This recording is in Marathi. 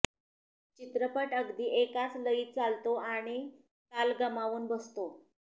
चित्रपट अगदी एकाच लयीत चालतो आणि ताल गमावून बसतो